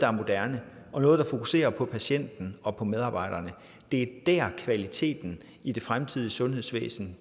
og moderne og fokuserer på patienten og på medarbejderne det er kvaliteten i det fremtidige sundhedsvæsen